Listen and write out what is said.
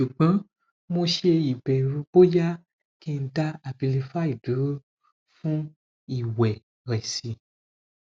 sugbon mo se ibeeru boya ki n da abilify duro fun iweresi